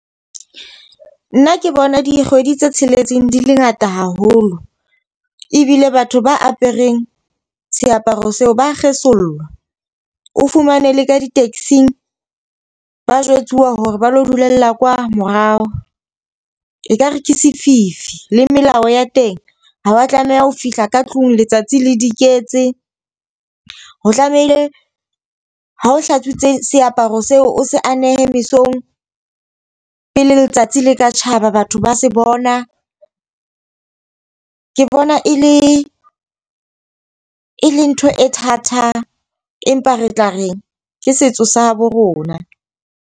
Nna ke bona dikgwedi tse tsheletseng di le ngata haholo. Ebile batho ba apereng seaparo seo ba kgesollwa. O fumane le ka di-taxi-ng ba jwetsuwa hore ba lo dulella kwa morao. E ka rekisa sefifi. Le melao ya teng, ha wa tlameha ho fihla ka tlung letsatsi le di iketse, ho tlamehile ha o hlatswitse seaparo seo, o se anehe mesong pele letsatsi le ka tjhaba batho ba se bona. Ke bona e le e le ntho e thata, empa re tla reng ke setso sa habo rona.